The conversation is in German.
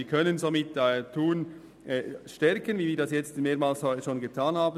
Wir können damit den Standort Thun stärken, wie wir es heute schon mehrmals getan haben.